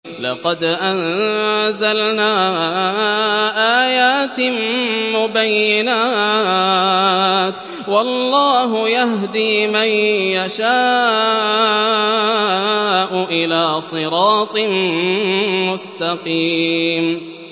لَّقَدْ أَنزَلْنَا آيَاتٍ مُّبَيِّنَاتٍ ۚ وَاللَّهُ يَهْدِي مَن يَشَاءُ إِلَىٰ صِرَاطٍ مُّسْتَقِيمٍ